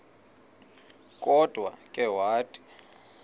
kodwa ke wathi